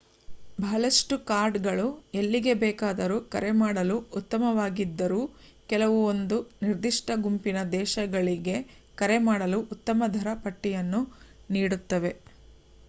ಬಹಳಷ್ಟು ಕಾರ್ಡುಗಳು ಎಲ್ಲಿಗೆ ಬೇಕಾದರೂ ಕರೆ ಮಾಡಲು ಉತ್ತಮವಾಗಿದ್ದರೂ ಕೆಲವು ಒಂದು ನಿರ್ದಿಷ್ಟ ಗುಂಪಿನ ದೇಶಗಳಿಗೆ ಕರೆ ಮಾಡಲು ಉತ್ತಮ ದರ ಪಟ್ಟಿಯನ್ನು ನೀಡುತ್ತವೆ